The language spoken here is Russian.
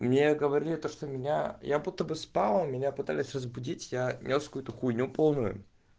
мне говорили то что меня я будто бы спала меня пытались разбудить я нёс какую-то хуйню полную